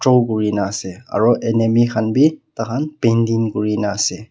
na ase aru enimi khan bhi tah khan painting kuri na ase.